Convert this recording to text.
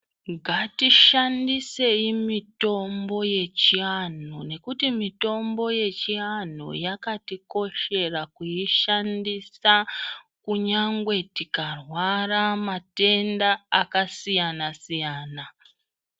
Ngatishandisei mitombo yechivantu mitombo yechivantu nekuti mitombo yechivantu yakatikoshera kuishandisa kunyangwe tikarwara matenda akasiyana siyana.